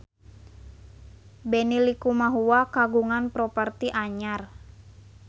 Benny Likumahua kagungan properti anyar